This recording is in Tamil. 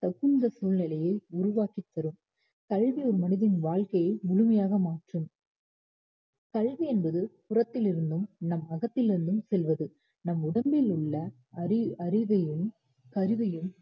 தகுந்த சூழ்நிலையை உருவாக்கித் தரும் கல்வி ஒரு மனிதனின் வாழ்க்கையை முழுமையாக மாற்றும் கல்வி என்பது புறத்திலிருந்தும் நம் அகத்திலிருந்தும் செல்வது நம் உடம்பில் உள்ள அறி~ அறிவையும் கருவையும்